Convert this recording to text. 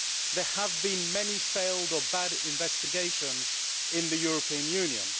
There have been many failed or bad investigations in the European Union.